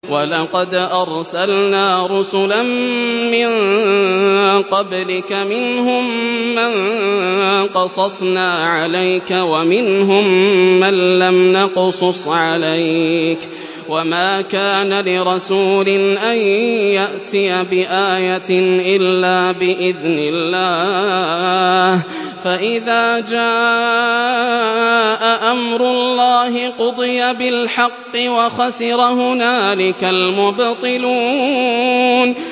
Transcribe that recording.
وَلَقَدْ أَرْسَلْنَا رُسُلًا مِّن قَبْلِكَ مِنْهُم مَّن قَصَصْنَا عَلَيْكَ وَمِنْهُم مَّن لَّمْ نَقْصُصْ عَلَيْكَ ۗ وَمَا كَانَ لِرَسُولٍ أَن يَأْتِيَ بِآيَةٍ إِلَّا بِإِذْنِ اللَّهِ ۚ فَإِذَا جَاءَ أَمْرُ اللَّهِ قُضِيَ بِالْحَقِّ وَخَسِرَ هُنَالِكَ الْمُبْطِلُونَ